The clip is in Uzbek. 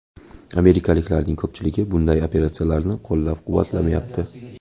Amerikaliklarning ko‘pchiligi bunday operatsiyani qo‘llab-quvvatlamayapti.